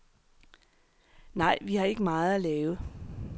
Nej, vi har ikke meget at lave.